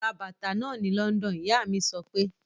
Ra bàtà náà ni London! Ìyá mí sọ pé.